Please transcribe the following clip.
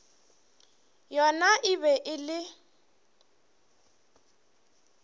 yona e be e le